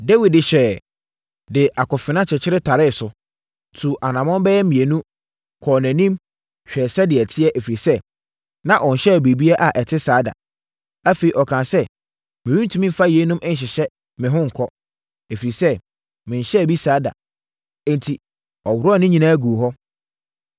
Dawid de hyɛeɛ, de akofena kyekyere taree so, tuu anammɔn bɛyɛ mmienu, kɔɔ nʼanim hwɛɛ sɛdeɛ ɛteɛ, ɛfiri sɛ, na ɔnhyɛɛ biribi a ɛte saa da. Afei, ɔkaa sɛ, “Merentumi mfa yeinom nhyehyɛ me ho nkɔ, ɛfiri sɛ, menhyɛɛ bi saa da.” Enti, ɔworɔɔ ne nyinaa guu hɔ.